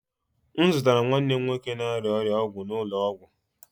M zụtara nwanne m nwoke na-arịa ọrịa ọgwụ n'ụlọ ọgwụ.